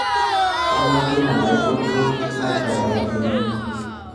kanu atum enaipotuo naitabaikini